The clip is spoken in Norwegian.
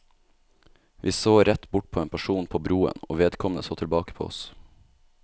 Vi så rett bort på en person på broen, og vedkommende så tilbake på oss.